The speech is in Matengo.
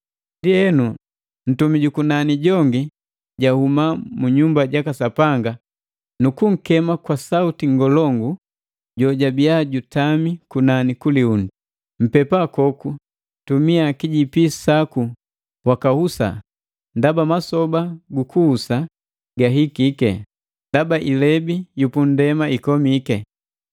Ndienu ntumi jukunani jongi jahuma munyumba jaka Sapanga nu kunkema kwa sauti ngolongu jola jojabiya jutami kunani ku liundi, “Mpepa koku tumia kijipi saku wakahusa, ndaba masoba gu gukuhusa gahikike, ndaba ilebi gu pundema gakomiki.”